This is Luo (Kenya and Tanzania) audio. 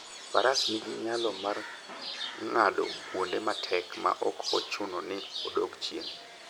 Faras nigi nyalo mar ng'ado kuonde matek maok ochuno ni odog chien.